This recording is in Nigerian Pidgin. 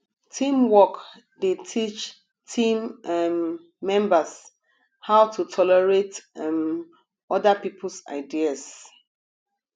teamwork dey teach team um members how to tolerate um other peoples ideas